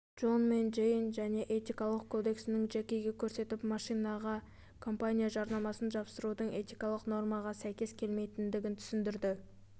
джон мен джейн және этикалық кодексін джекиге көрсетіп машинаға компания жарнамасын жапсырудың этикалық нормаға сәйкес келмейтінін түсіндірді